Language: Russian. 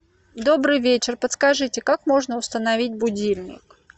добрый вечер подскажите как можно установить будильник